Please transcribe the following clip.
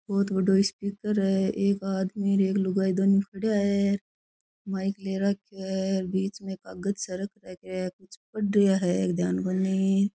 बहोत बड़ो स्पीकर है एक आदमी और एक लुगाई दोनों खड़या है माइक ले रखयो है बीच में कागज सा रखा है कुछ पढ़ रिया है ध्यान कोनी।